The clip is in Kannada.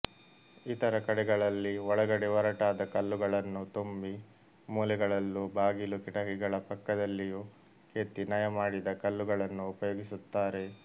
ಇತರ ಕಡೆಗಳಲ್ಲಿ ಒಳಗಡೆ ಒರಟಾದ ಕಲ್ಲುಗಳನ್ನು ತುಂಬಿ ಮೂಲೆಗಳಲ್ಲೂ ಬಾಗಿಲು ಕಿಟಕಿಗಳ ಪಕ್ಕದಲ್ಲಿಯೂ ಕೆತ್ತಿ ನಯಮಾಡಿದ ಕಲ್ಲುಗಳನ್ನು ಉಪಯೋಗಿಸುತ್ತಾರೆ